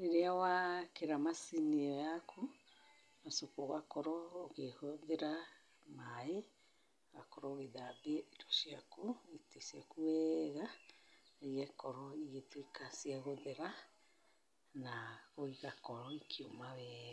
rĩrĩa wekĩra macini ĩo yaku, ũgacoka ũgakorwo ũkĩhũthĩra maĩ ũgakorwo ũgĩthambia indo ciaku, itĩ ciaku wega igakorwo igĩtuĩka ciagũthera na igakorwo ikiũma wega.